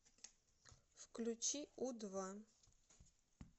включи у два